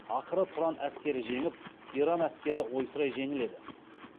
ақыры тұран әскері жеңіп иран әскері ойсырай жеңіледі